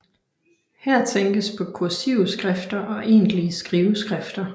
Her tænkes på kursive skrifter og egentlige skriveskrifter